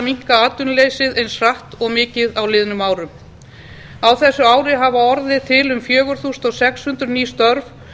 minnka atvinnuleysið eins hratt og mikið á liðnum árum á þessu ári hafa orðið til um fjögur þúsund sex hundruð ný störf